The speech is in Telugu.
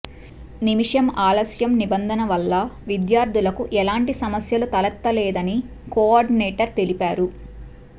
నిమిషం ఆలస్యం నిబంధన వల్ల విద్యార్థులకు ఎలాంటి సమస్యలు తలెత్తలేదని కోఆర్డినేటర్ తెలిపారు